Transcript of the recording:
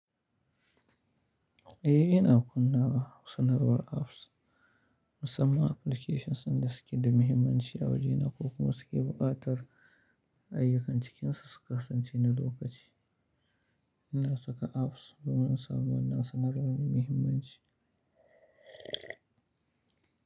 Eh, ina kunna sanarwar apps. Musamman applications din dasuke da muhimmanci a waje na ko kuma suke buƙatar ayyukan cikinsu su kasance na lokaci. Ina saka apps domin in samu wannan sanarwar mai muhimmanci.